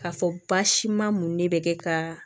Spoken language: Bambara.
K'a fɔ baasi ma mun de bɛ kɛ ka